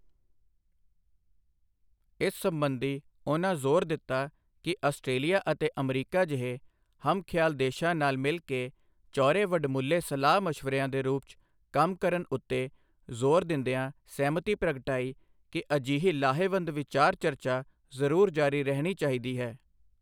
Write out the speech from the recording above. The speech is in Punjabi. ਇਸ ਸਬੰਧੀ, ਉਨ੍ਹਾਂ ਜ਼ੋਰ ਦਿੱਤਾ ਕਿ ਆਸਟ੍ਰੇਲੀਆ ਅਤੇ ਅਮਰੀਕਾ ਜਿਹੇ ਹਮ ਖ਼ਿਆਲ ਦੇਸ਼ਾਂ ਨਾਲ ਮਿਲ ਕੇ ਚੌਹਰੇ ਵਡਮੁੱਲੇ ਸਲਾਹ ਮਸ਼ਵਰਿਆਂ ਦੇ ਰੂਪ 'ਚ ਕੰਮ ਕਰਨ ਉੱਤੇ ਜ਼ੋਰ ਦਿੰਦਿਆਂ ਸਹਿਮਤੀ ਪ੍ਰਗਟਾਈ ਕਿ ਅਜਿਹੀ ਲਾਹੇਵੰਦ ਵਿਚਾਰ ਚਰਚਾ ਜ਼ਰੂਰ ਜਾਰੀ ਰਹਿਣੀ ਚਾਹੀਦੀ ਹੈ।